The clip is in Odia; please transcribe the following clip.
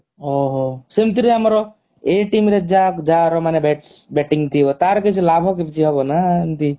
ଓଃ ହୋ ସେମିତି ତେ ଆମର ଏ team ରେ ଯା ଯାହାର ମାନେ bats bating ତାର କିଛି ଲାଭ ହବ କିଛି ନା ଏମିତି